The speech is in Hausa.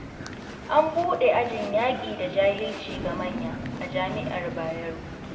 An buɗe ajin yaƙi da jahilci ga manya, a jami'ar Bayero.